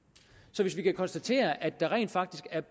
så hvis vi kan konstatere at der rent faktisk er